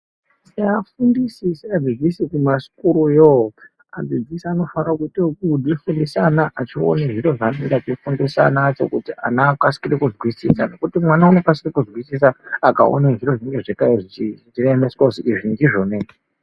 Seafundisi seadzdzis kumasukuru yo adzidzisi anofarira kuito okudzidzise ana achione zviro zvaanenge achifundisa ana acho kuti ana akasikire kuzwisisa ngekuti mwana unokasikire kuzwisisa akaone zviro zvinenge zvakae zvoemeswa kuti izvi ndizvona izvi.